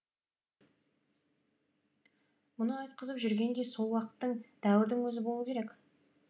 мұны айтқызып жүрген де сол уақыттың дәуірдің өзі болу керек